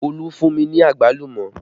Olú fún mi ní àgbálùmọ́